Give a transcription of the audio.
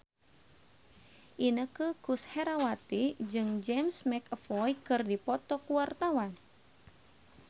Inneke Koesherawati jeung James McAvoy keur dipoto ku wartawan